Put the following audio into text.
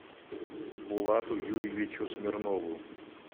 булату юрьевичу смирнову